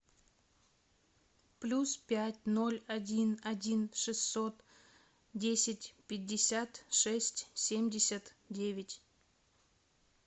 плюс пять ноль один один шестьсот десять пятьдесят шесть семьдесят девять